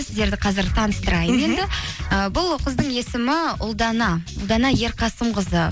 сіздерді қазір таныстырайын і бұл қыздың есімі ұлдана ұлдана ерқасымқызы